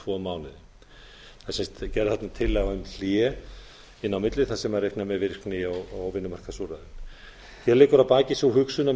og tvo mánuði það er sem sagt gerð þarna tillaga um hlé inni á milli þar sem reiknað er með virkni og vinnumarkaðsúrræðum hér liggur að baki sú hugsun að